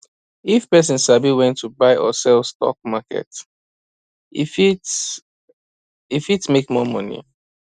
if person sabi when to buy or sell for stock market e fit e fit make more money